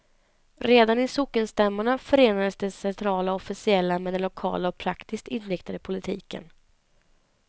Redan i sockenstämmorna förenades det centrala och officiella med den lokala och praktiskt inriktade politiken.